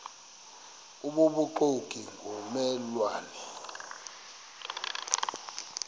obubuxoki ngomme lwane